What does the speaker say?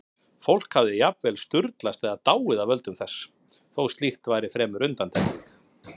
Fólk hafði jafnvel sturlast eða dáið af völdum þess, þó slíkt væri fremur undantekning.